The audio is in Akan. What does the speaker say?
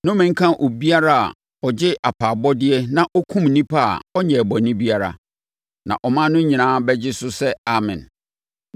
“Nnome nka obiara a ɔgye apaabɔdeɛ na ɔkum onipa a ɔnyɛɛ bɔne biara.” Na ɔman no nyinaa bɛgye so sɛ, “Amen!”